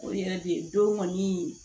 O yɛrɛ de don kɔni